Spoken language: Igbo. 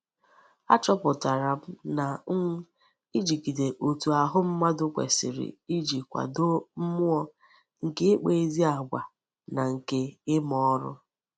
Achoputara m na um ijigide otu ahu mmadu kwesiri Iji kwado mmuo nke ikpa ezi agwa na nke I'ma órú.